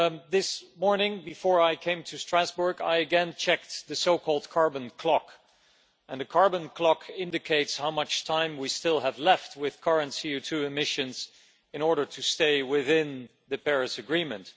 This morning, before I came to Strasbourg, I again checked the so called carbon clock, and the carbon clock indicates how much time we still have left with current CO2 emissions in order to stay within the Paris Agreement.